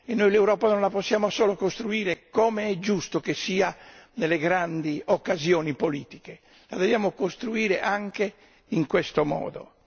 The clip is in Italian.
Noi l'Europa non la possiamo solo costruire, come è giusto che sia, nelle grandi occasioni politiche, ma la dobbiamo costruire anche in questo modo.